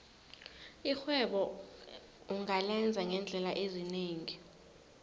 irhwebo ungalenza ngeendlela ezinengi